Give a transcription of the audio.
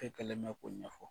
E kelenɛ ka boli ma